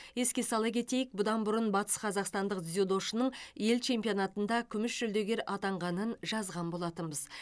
еске сала кетейік бұдан бұрын батысқазақстандық дзюдошының ел чемпионатында күміс жүлдегер атанғанын жазған болатынбыз